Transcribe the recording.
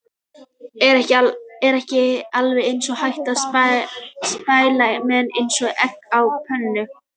Er ekki alveg eins hægt að spæla menn eins og egg á pönnu?